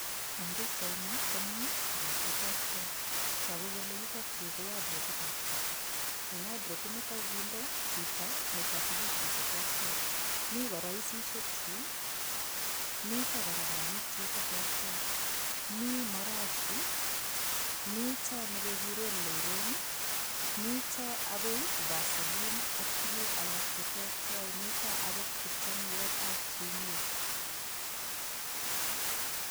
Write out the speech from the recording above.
Eng' pikchaini komi tuguk cheterter toku kole yutokyu ko wadropitab chito eng' wadropi nito kokiinde chito nito tukuk chi cheterter mi koroisishekchi mito kora mwanik chi cheterter mi marashi mito nekekure loron mito akoi vaseline ak tukuk alak cheterter mito akot kipchanuetab sumek